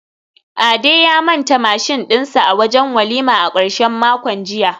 Ade ya manta mashin dinsa a wajen walima a karshen makon jiya